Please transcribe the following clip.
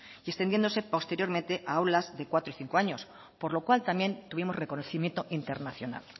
y extendiéndose posteriormente a aulas de cuatro y cinco años por lo cual también tuvimos reconocimiento internacional